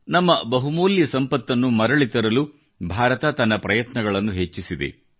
ನಮ್ಮ ಬಹುಮೂಲ್ಯ ಸಂಪತ್ತನ್ನು ಮರಳಿ ತರಲು ಭಾರತ ತನ್ನ ಪ್ರಯತ್ನಗಳನ್ನು ಹೆಚ್ಚಿಸಿದೆ